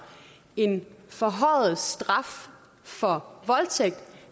en forhøjet straf for voldtægt